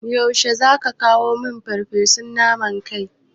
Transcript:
Yaushe zaka kawo min farfesun naman kai?